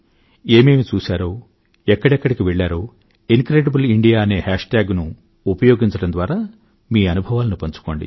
ఏమేమి చూశారో ఎక్కడెక్కడికి వెళ్లారో ఇన్క్రెడిబుల్ ఇండియా అనే హేష్ ట్యాగ్ ను ఉపయోగించడం ద్వారా మీ అనుభవాలను పంచుకోండి